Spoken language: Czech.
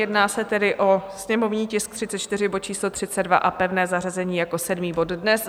Jedná se tedy o sněmovní tisk 34, bod číslo 32 a pevné zařazení jako sedmý bod dnes.